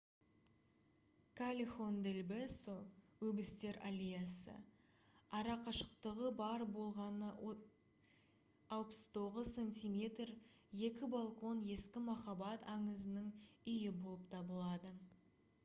каллехон дель бесо өбістер аллеясы. арақашықтығы бар болғаны 69 сантиметр екі балкон ескі махаббат аңызының үйі болып табылады